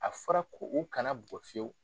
A fɔra ko u kana bugɔ fiyew.